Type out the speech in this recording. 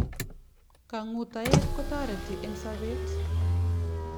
Kang'utaet kotareti eng sabet